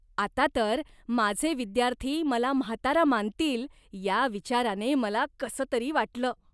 आता तर, माझे विद्यार्थी मला म्हातारा मानतील या विचाराने मला कसंतरी वाटलं.